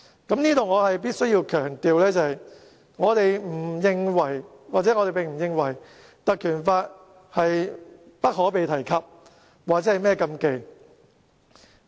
在這裏我必須強調，我們並不認為《立法會條例》不可被提及、亦不是禁忌。